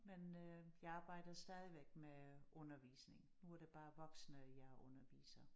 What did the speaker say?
Men øh jeg arbejder stadigvæk med undervisning nu er det bare voksne jeg underviser